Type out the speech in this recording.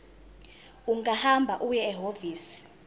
ungahamba uye ehhovisi